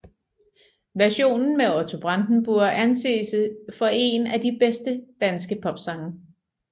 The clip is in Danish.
Versionen med Otto Brandenburg anses for en af de bedste danske popsange